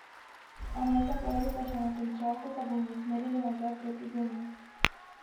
A naj se pravljica še ne konča, ko se bomo usmerili nazaj proti domu.